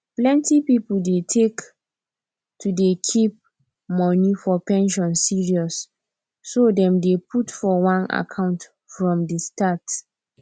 plenty pipu dey take to dey keep money for pension seriousso dem dey put for one account from the start